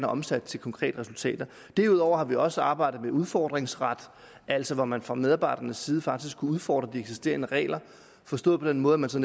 omsat til konkrete resultater derudover har vi også arbejdet med udfordringsret altså hvor man fra medarbejdernes side faktisk kunne udfordre de eksisterende regler forstået på den måde at man så